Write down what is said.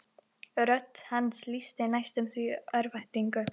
Rödd hans lýsti næstum því örvæntingu.